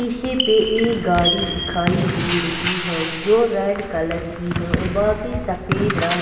शीशे पे एक गाड़ी दिखाई दे रही है जो रेड कलर की है और बाकी सफेद रंग.